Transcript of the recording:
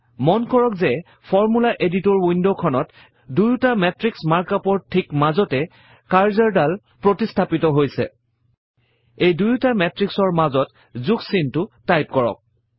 মন কৰক যে ফৰ্মুলা এডিটৰ Window খনত দুয়ুটা মাতৃশ মাৰ্ক ups ৰ ঠিক মাজতে কাৰ্জৰ ডাল প্ৰতিষ্ঠাপিত হৈছে এই দুইটা মেত্ৰিক্সৰ মাজত যোগ চিনটো টাইপ কৰক